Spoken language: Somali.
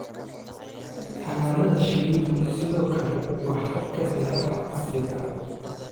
Xannaanada shinnidu sidoo kale waa habka beeraha casriga ah.